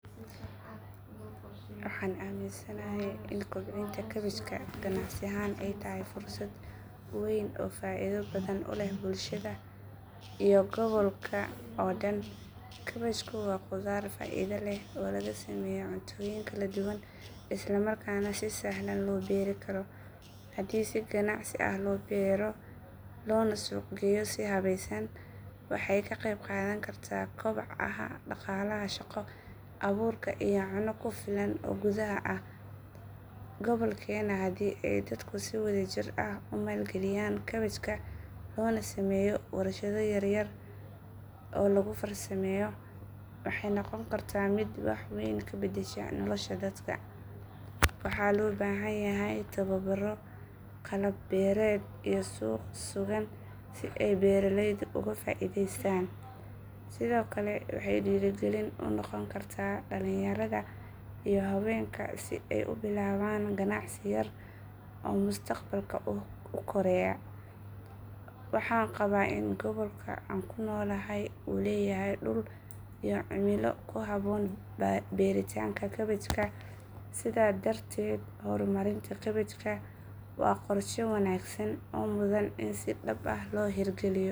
Waxaan aaminsanahay in kobcinta kaabajka ganacsi ahaan ay tahay fursad weyn oo faa'iido badan u leh bulshada iyo gobolka oo dhan. Kaabajku waa khudaar faa'iido leh oo laga sameeyo cuntooyin kala duwan isla markaana si sahlan loo beeri karo. Haddii si ganacsi ah loo beero loona suuq geeyo si habaysan, waxay ka qayb qaadan kartaa koboca dhaqaalaha, shaqo abuurka iyo cunno ku filan oo gudaha ah. Gobolkeena haddii ay dadku si wadajir ah u maalgeliyaan kaabajka loona sameeyo warshado yaryar oo lagu farsameeyo, waxay noqon kartaa mid wax weyn ka bedesha nolosha dadka. Waxaa loo baahan yahay tababaro, qalab beereed iyo suuq sugan si ay beeraleydu uga faa’iidaystaan. Sidoo kale waxay dhiirigelin u noqon kartaa dhalinyarada iyo haweenka si ay u bilaabaan ganacsi yar oo mustaqbalka u kora. Waxaan qabaa in gobolka aan ku noolahay uu leeyahay dhul iyo cimilo ku habboon beeritaanka kaabajka, sidaas darteed horumarinta kaabajka waa qorshe wanaagsan oo mudan in si dhab ah loo hirgeliyo.